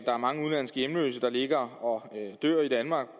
er mange udenlandske hjemløse der ligger og dør i danmark